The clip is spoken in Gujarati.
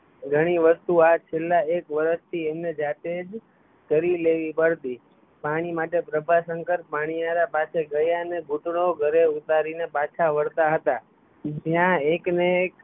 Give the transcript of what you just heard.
ઘણી વસ્તુ આ છેલા એક વર્ષથી એમને જાતે જ કરી લેવી પડતી પાણી માટે પ્રભાશંકર પનિયારા પાસે ગયાં ને ઘૂંટણો ઘરે ઉતારી ને પાછા વળતા હતાં જ્યાં એક ને એક